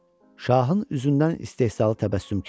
Şahın üzündən istehzalı təbəssüm keçdi.